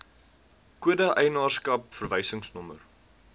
kode eienaarskap verwysingsnommer